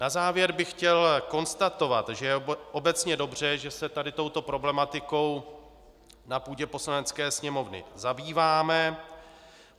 Na závěr bych chtěl konstatovat, že je obecně dobře, že se tady touto problematikou na půdě Poslanecké sněmovny zabýváme.